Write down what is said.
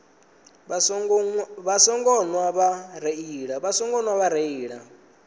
vha songo nwa vha reila